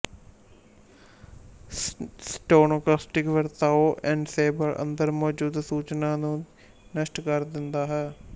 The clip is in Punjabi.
ਸਟੌਕਾਸਟਿਕ ਵਰਤਾਓ ਐਨਸੈਂਬਲ ਅੰਦਰ ਮੌਜੂਦ ਸੂਚਨਾ ਨੂੰ ਨਸ਼ਟ ਕਰ ਦਿੰਦਾ ਹੈ